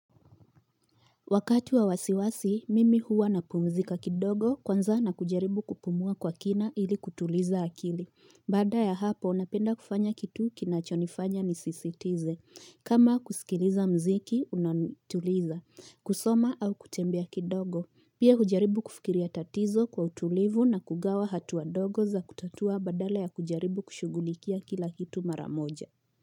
Wakati wa wasiwasi, mimi huwa na pumzika kidogo kwanza na kujaribu kupumua kwa kina ili kutuliza akili. Baada ya hapo, napenda kufanya kitu kinachonifanya ni sisi tize. Kama kusikiliza mziki, unatuliza. Kusoma au kutembea kidogo. Pia hujaribu kufikiria tatizo kwa utulivu na kugawa hatua dogo za kutatua badals ya kujaribu kushugulikia kila kitu maramoja.